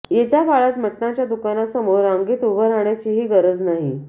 येत्या काळात मटणाच्या दुकानासमोर रांगेत उभं राहण्याचीही गरज नाही